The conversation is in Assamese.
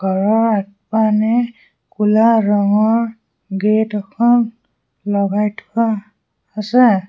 ঘৰৰ আগপানে কুলা ৰঙৰ গেট এখন লগাই থোৱা আছে।